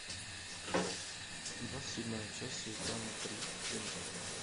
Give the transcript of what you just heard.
двадцать седьмая часть сезона три клиника